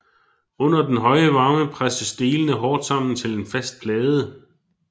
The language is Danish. Under den høje varme presses delene hårdt sammen til en fast plade